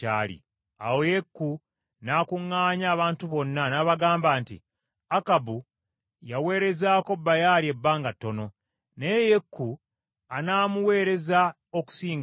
Awo Yeeku n’akuŋŋaanya abantu bonna, n’abagamba nti, “Akabu yaweerezaako Baali ebbanga ttono naye Yeeku anaamuweereza okusingawo.